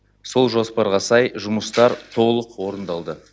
сол жоспарға сай жұмыстар толық орындалды